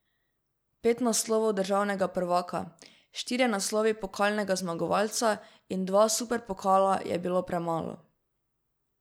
Pet naslovov državnega prvaka, štirje naslovi pokalnega zmagovalca in dva superpokala je bilo premalo.